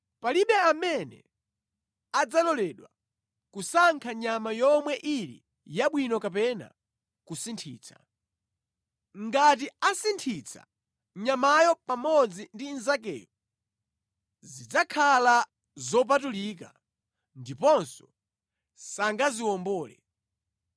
Palibe amene adzaloledwa kusankha nyama yomwe ili yabwino kapena kusinthitsa. Ngati asinthitsa, nyamayo pamodzi ndi inzakeyo zidzakhala zopatulika ndipo sangaziwombole.’ ”